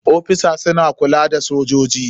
Ofisosi suna kulla da sojoji.